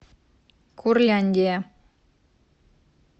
курляндия